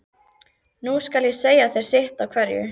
Nú skal ég segja þér sitt af hverju.